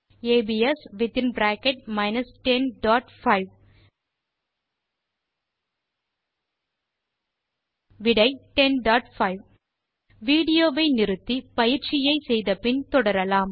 abs 105 விடை 105 video வை நிறுத்தி கணக்கை போட்டு பார்த்து தொடரலாம்